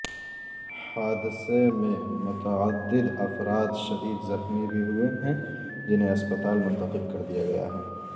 حادثے میں متعد افراد شدید زخمی بھی ہوئے ہیں جنہیں اسپتال منتقل کر دیا گیاہے